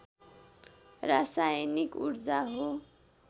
रासायनिक ऊर्जा हो